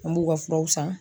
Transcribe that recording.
An b'u ka furaw san